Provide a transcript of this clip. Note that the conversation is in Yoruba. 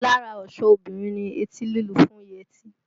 Lára ọ̀ṣọ́ obìnrin ni etí lílu fún yẹtí